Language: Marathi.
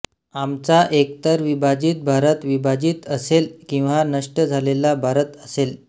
आमचा एकतर विभाजित भारत विभाजित असेल किंवा नष्ट झालेला भारत असेल